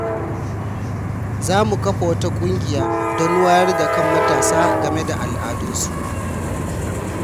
Za mu kafa wata kungiya don wayar da kan matasa game da al’adunsu.